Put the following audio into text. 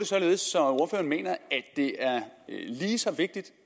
at ordføreren mener at det er lige så vigtigt